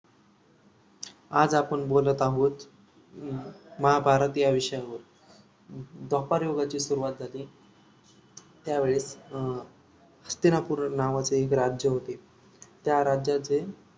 आज आपण बोलत आहोत आह महाभारत या विषयावर द्व्यापारयुगाची सुरुवात झाल त्यावेळे अं हस्तिनापूर नावाचे एक राज्य होत त्या राज्याचे